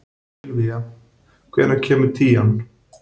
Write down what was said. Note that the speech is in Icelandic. Sylvía, hvenær kemur tían?